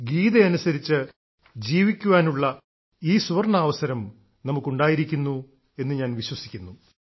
ഗീതയനുസരിച്ച് ജീവിക്കാനുള്ള ഈ സുവർണ്ണാവസരം നമുക്ക് ഉണ്ടായിരിക്കുന്നു എന്ന് ഞാൻ വിശ്വസിക്കുന്നു